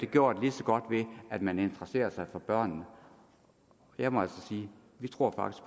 gjort lige så godt ved at man interesserer sig for børnene der må jeg sige vi tror